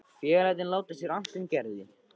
Félagarnir láta sér annt um Gerði.